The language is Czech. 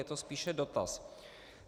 Je to spíše dotaz.